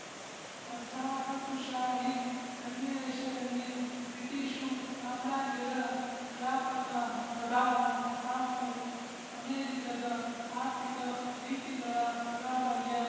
ವಸಾಹತುಶಾಹಿ ಸನ್ನಿವೇಶದಲ್ಲಿ ಬ್ರಿಟಿಶು ಸಾಮ್ರಾಜ್ಯದ ವ್ಯಾಪಕ ಪ್ರಭಾವ ಹಾಗೂ ಅಮೇರಿಕದ ಆರ್ಥಿಕ ನೀತಿಗಳ ಪ್ರಾಬಲ್ಯ